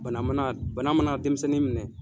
Bana mana bana mana denmisɛnnin minɛ.